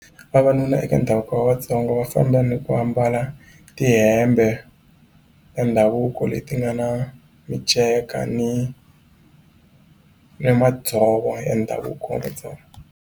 Vavanuna eka ndhavuko wa Vatsonga va famba ni ku ambala tihembe ta ndhavuko leti nga na miceka ni ni madzovo ya ndhavuko wa Matsonga.